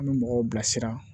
An bɛ mɔgɔw bilasira